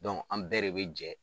an bɛɛ de be jɛ